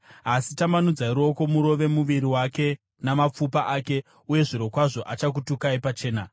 Asi tambanudzai ruoko murove muviri wake namapfupa ake, uye zvirokwazvo achakutukai pachena.”